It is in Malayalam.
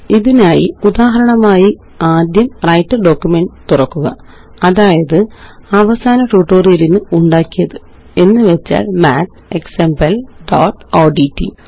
ഇതിനായി ഉദാഹരണമായി ആദ്യം വ്രൈട്ടർ ഡോക്യുമെന്റ് തുറക്കുക അതായത് അവസാന ട്യൂട്ടോറിയലിന് ഉണ്ടാക്കിയത് എന്നുവെച്ചാല് mathexample1ഓഡ്റ്റ്